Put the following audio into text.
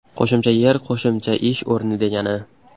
Qo‘shimcha yer qo‘shimcha ish o‘rni degani.